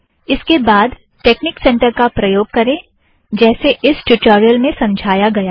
उसके बाद technique centre का प्रयोग करें जैसे इस ट्यूटोरियल में समझाया गया है